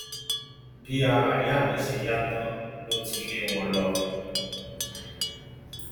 bí ara ìyá mi ṣe yá tán ló ti lé wọn lọ